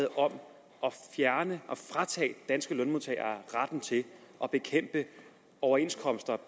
om at fratage danske lønmodtagere retten til at bekæmpe overenskomster